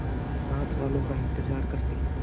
साथ वालों का इंतजार करते